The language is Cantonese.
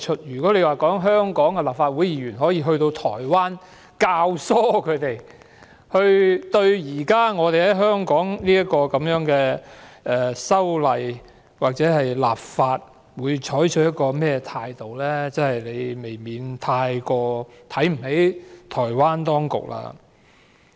如果說香港立法會議員可以左右台灣對現時香港的修例或立法採取某種態度，他們未免太看輕了台灣當局。